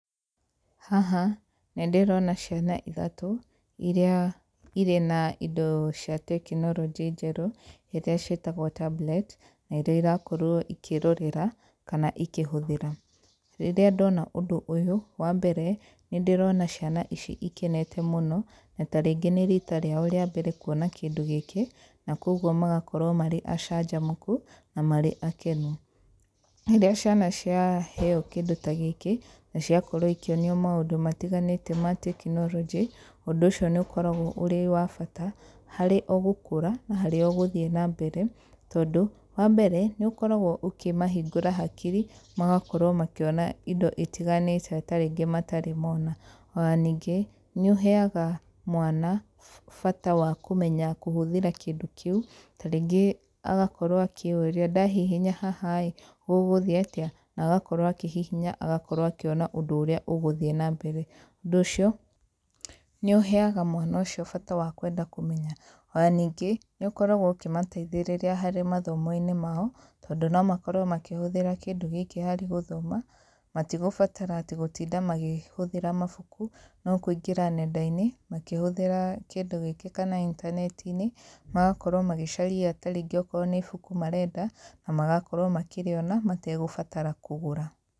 Haha, nĩ ndĩrona ciana ithatũ, irĩa irĩ na indo cia tekinoronjĩ njerũ, ĩrĩa ciĩtagwo tablet, na iríĩ irakorwo ikĩrorera, kana ikĩhũthĩra. Rĩrĩa ndona ũndũ ũyũ, wa mbere, nĩ ndĩrona ciana ici ikenete mũno, na tarĩngĩ nĩ riita rĩao rĩa mbere kuona kĩndũ gĩkĩ, na kũguo magakorwo marĩ acanjamũku, na marĩ akenu. Rĩrĩa ciana ciaheo kĩndũ ta gĩkĩ, na ciakorwo ikĩonio maũndũ matiganĩte ma tekinoronjĩ, ũndũ ũcio nĩ ũkoragwo ũrĩ wa bata, harĩ o gũkũra, na harĩ gũthiĩ na mbere, tondũ. Wa mbere, nĩ ũkoragwo ũkĩmahingũra hakiri, magakorwo makĩona indo itiganĩte tarĩngĩ matarĩ mona. Ona ningĩ, nĩ ũheaga mwana, bata wa kũmenya kũhũthĩra kĩndũ kĩu, tarĩngĩ agakorwo akĩyũria, ndahihinya haha ĩĩ, gũgũthiĩ atĩa? Na agakorwo akĩhihiny, agakorwo akĩona ũndũ ũrĩa ũgũthiĩ na mbere. Ũndũ ũcio, nĩ ũheaga mwana ũcio bata wa kwenda kũmenya. Ona ningĩ, nĩ ũkoragwo ũkĩmateithĩrĩria harĩ mathomo-inĩ mao, tondũ nĩ makorwo makĩhũthĩra kĩndũ gĩkĩ harĩ gũthoma, matigũbatara atĩ gũtinda magĩhũthĩra mabuku, no kũingĩra nenda-inĩ, makĩhũthĩra kĩndũ gĩkĩ kana intaneti-inĩ, magakorwo magĩcaria tarĩngĩ okorwo nĩ ibuku marenda, na magakorwo makĩrĩona, matagũbatara kũgũra.